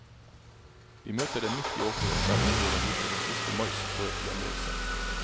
Vi møter dem midt i åkeren der de står og nyter en siste mais før hjemreise.